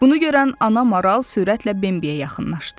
Bunu görən ana maral sürətlə Bimbiyə yaxınlaşdı.